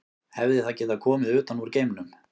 Hefði það getað komið utan úr geimnum?